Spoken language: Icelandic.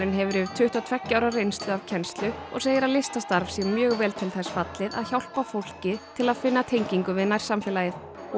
hefur yfir tuttugu og tveggja ára reynslu af kennslu og segir að listastarf sé mjög vel til þess fallið að hjálpa fólki til að finna tengingu við nærsamfélagið